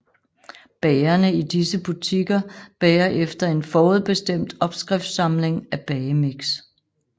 Bagerne i disse butikker bager efter en forudbestemt opskriftsamling af bagemix